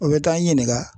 U bɛ taa n'i ɲininka